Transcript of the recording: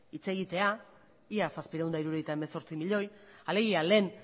hitz egitea ia zazpiehun eta hirurogeita hemezortzi milioi alegia lehen